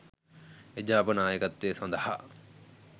එජාප නායකත්වය සඳහා